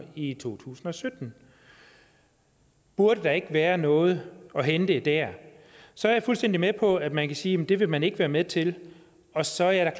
i to tusind og sytten burde der ikke være noget at hente der så er jeg fuldstændig med på at man kan sige at det vil man ikke være med til og så er jeg